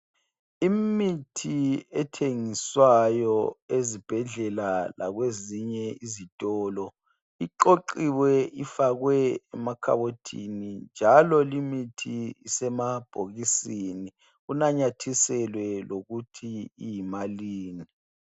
Imithi ethengiswayo ezibhedlela lakwezinye izitolo iqoqiwe ifakwe emakhabothini njalo limithi isemabhokisini kunanyathiselwe lokuthi iyimalini.